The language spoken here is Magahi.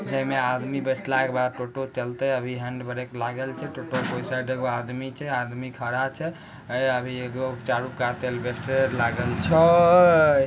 आदमी बैठल के बाद टोटों चलते अभी हैंड ब्रेक लागल छे टोटों कोई साइड एगो आदमी छे आदमी खड़ा छे ए अभ छे।